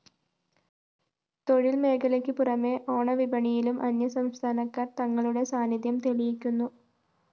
തൊഴില്‍ മേഖലയ്ക്ക് പുറമേ ഓണവിപണിയിലും അന്യസംസ്ഥാനക്കാര്‍ തങ്ങളുടെ സാന്നിദ്ധ്യം തെളിയിക്കുന്നു